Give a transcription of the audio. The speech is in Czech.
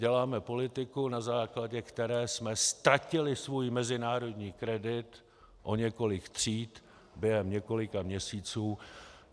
Děláme politiku, na základě které jsme ztratili svůj mezinárodní kredit o několik tříd během několika měsíců.